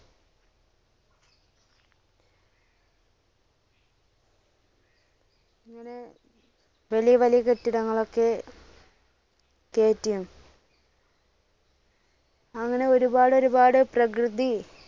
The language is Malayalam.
അങ്ങനെ വലിയ വലിയ കെട്ടിടങ്ങളൊക്കെ കേറ്റിയും അങ്ങനെ ഒരുപാട് ഒരുപാട് പ്രകൃതി